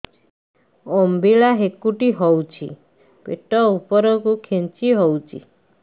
ଅମ୍ବିଳା ହେକୁଟୀ ହେଉଛି ପେଟ ଉପରକୁ ଖେଞ୍ଚି ହଉଚି